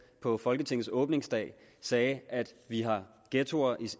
på folketingets åbningsdag sagde at vi har ghettoer